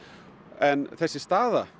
en þessi staða